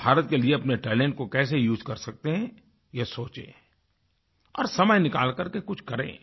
वो भारत के लिए अपने टैलेंट को कैसे उसे कर सकते हैं ये सोचें और समय निकाल कर के कुछ करें